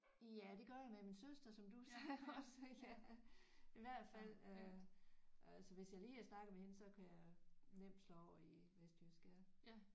Ja det gør jeg med min søster som du sagde også ja i hvert fald øh øh altså hvis jeg lige har snakket med hende så kan jeg nemt slå over i vestjysk ja